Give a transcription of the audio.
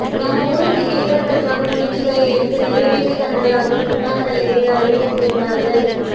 நம்ம ஊருக்கு கிடைபதற்காக முயற்சிகள் எடுத்து நிறைவேற்றி தந்ததாக முன்னாள் தலைவி அறிவித்திருந்தார்கள்